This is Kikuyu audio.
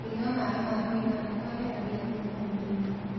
Kũnyua mae ma kũĩgana kweheragĩa thũmũ mwĩrĩĩnĩ